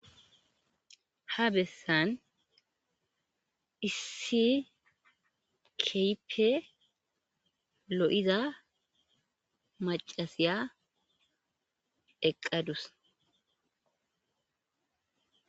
Ha besan issi kehippe lo'iza macashiya eqadus